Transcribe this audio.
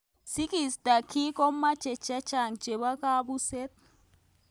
Sikeisto kii komeche chechang cehbo kabuset.